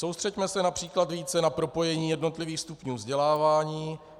Soustřeďme se například více na propojení jednotlivých stupňů vzdělávání.